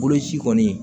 Boloci kɔni